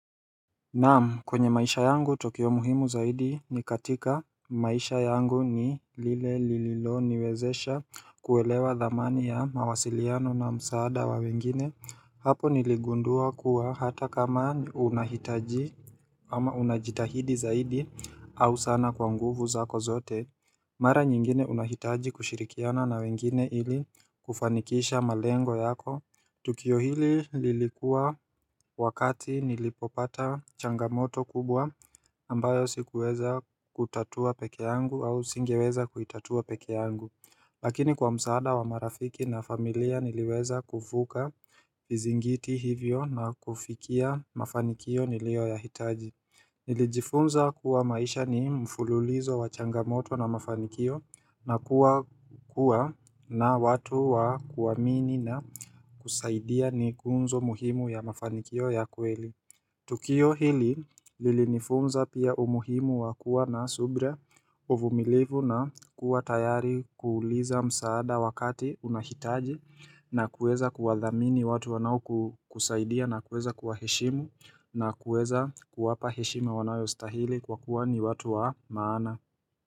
Naam kwenye maisha yangu tukio muhimu zaidi ni katika maisha yangu ni lile lililoniwezesha kuelewa thamani ya mawasiliano na msaada wa wengine Hapo niligundua kuwa hata kama unahitaji ama unajitahidi zaidi au sana kwa nguvu zako zote Mara nyingine unahitaji kushirikiana na wengine ili kufanikisha malengo yako Tukio hili lilikuwa wakati nilipopata changamoto kubwa ambayo sikuweza kutatua peke yangu au singeweza kuitatua peke yangu Lakini kwa msaada wa marafiki na familia niliweza kuvuka vizingiti hivyo na kufikia mafanikio nilioyahitaji Nilijifunza kuwa maisha ni mfululizo wa changamoto na mafanikio na kuwa na watu wa kuamini na kusaidia ni kunzo muhimu ya mafanikio ya kweli Tukio hili lilinifunza pia umuhimu wa kuwa na subra uvumilivu na kuwa tayari kuuliza msaada wakati unahitaji na kuweza kuwathamini watu wanaokusaidia na kuweza kuwaheshimu na kuweza kuwapa heshima wanayostahili kwa kuwa ni watu wa maana.